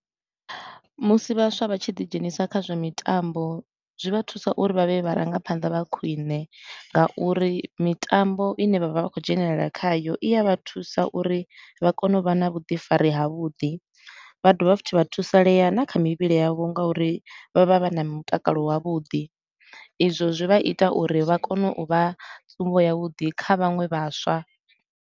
Musi vhaswa vha tshi ḓi dzhenisa kha zwa mitambo, zwi vha thusa uri vha vhe vharangaphanḓa vha khwine nga uri mitambo i ne vha vha vha khou dzhenelela khayo i ya vha thusa uri vha kone u vha na vhuḓifari ha vhuḓi. Vha dovha futhi vha thusalea na kha mivhili yavho nga uri vha vha vha na mutakalo wa vhuḓi. Izwo zwi vha ita uri vha kone u vha tsumbo ya vhuḓi kha vhaṅwe vhaswa.